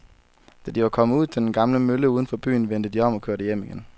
Da de var kommet ud til den gamle mølle uden for byen, vendte de om og kørte hjem igen.